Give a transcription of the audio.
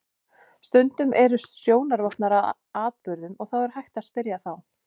Stundum eru sjónarvottar að atburðum og er þá hægt að spyrja þá.